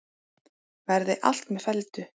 Verði allt með felldu.